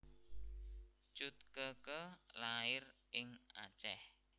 Cut Keke lair ing Aceh